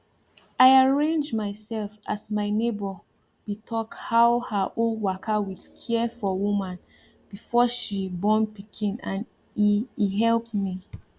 i arrange myself as my neighbor be talk how her own waka with care for woman before she born pikin and e e help me